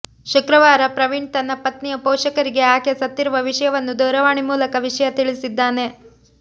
ಶುಕ್ರವಾರ ಪ್ರವೀಣ್ ತನ್ನ ಪತ್ನಿಯ ಪೋಷಕರಿಗೆ ಆಕೆ ಸತ್ತಿರುವ ವಿಷಯವನ್ನು ದೂರವಾಣಿ ಮೂಲಕ ವಿಷಯ ತಿಳಿಸಿದ್ದಾನೆ